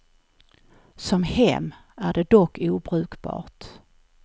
Som hem är det dock obrukbart.